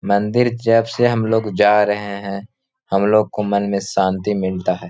मंदिर जब से हम लोग जा रहे हैं। हम लोगों को मन में शांति मिलता है।